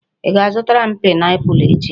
Ị ga-azụtara m pineapple echi.